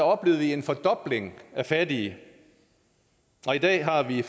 oplevede vi en fordobling af fattige og i dag har vi